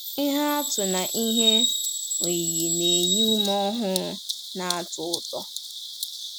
Ihe atụ na ihe oyiyi na-enye ume ọhụrụ na-atọ ụtọ.”